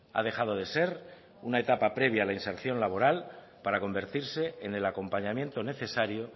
ha dejado de ser una etapa previa a la inserción laboral para convertirse en el acompañamiento necesario